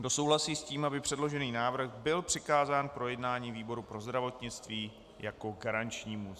Kdo souhlasí s tím, aby předložený návrh byl přikázán k projednání výboru pro zdravotnictví jako garančnímu?